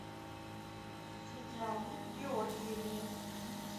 светлане георгиевне